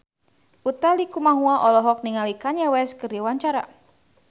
Utha Likumahua olohok ningali Kanye West keur diwawancara